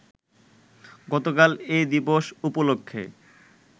গতকাল এ দিবস উপলক্ষে